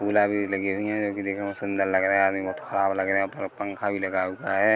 भी लगी हुई हैं जो की देखने में बहुत सुंदर लग रहे है आदमी बहुत खराब लग रहे है ऊपर पंखा भी लगा हुआ है।